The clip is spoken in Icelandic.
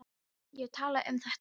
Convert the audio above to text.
Ég er að tala um þetta!